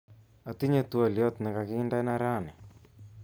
Atinye twoliot nekakindena raini